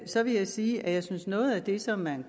så vil jeg sige at jeg synes at noget af det som man